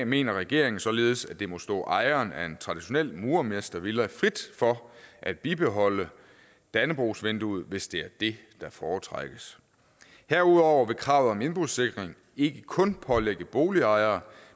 mener regeringen således at det må stå ejeren af en traditionel murermestervilla frit for at bibeholde dannebrogsvinduet hvis det er det der foretrækkes herudover vil kravet om indbrudssikring ikke kun pålægge boligejere